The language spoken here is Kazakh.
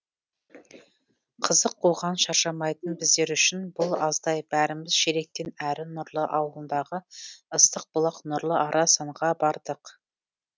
қызық қуған шаршамайтын біздер үшін бұл аздай бәріміз шелектен әрі нұрлы ауылындағы ыстық бұлақ нұрлы арасанға бардық